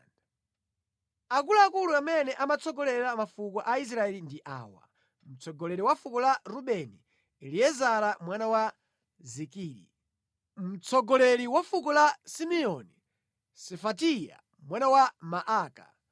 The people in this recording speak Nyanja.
Akuluakulu amene amatsogolera mafuko a Israeli ndi awa: Mtsogoleri wa fuko la Rubeni: Eliezara mwana wa Zikiri; mtsogoleri wa fuko la Simeoni: Sefatiya mwana wa Maaka;